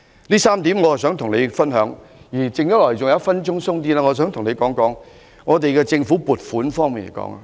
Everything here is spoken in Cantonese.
上述3點都是我想與司長分享的，而餘下約1分鐘時間，我想跟他談談政府撥款。